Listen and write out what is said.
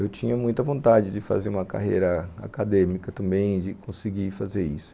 Eu tinha muita vontade de fazer uma carreira acadêmica também, de conseguir fazer isso.